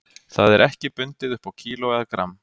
Það er ekki bundið upp á kíló eða gramm.